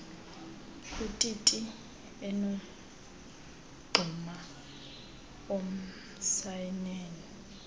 ititi enomngxuma omncianen